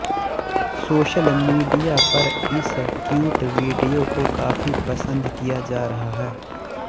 social media पर इस cute video को काफी पसंद किया जा रहा है